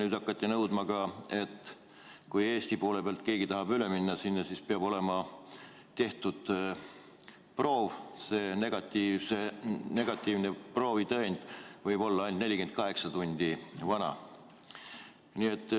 Nüüd on hakatud nõudma, et kui Eesti poole pealt keegi tahab Lätti minna, siis peab olema tehtud proov ja negatiivse proovi tõend võib olla ainult 48 tundi vana.